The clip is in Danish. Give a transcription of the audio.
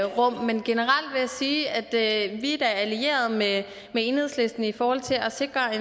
rum men generelt vil jeg sige at vi da er allierede med enhedslisten i forhold til at sikre en